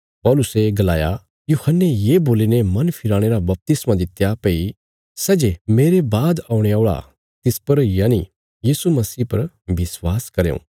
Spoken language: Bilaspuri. पौलुसे गलाया यूहन्ने ये बोलीने मन फिराणे रा बपतिस्मा दित्या भई सै जे मेरे बाद औणे औल़ा तिस पर यनि यीशु मसीह पर विश्वास करयों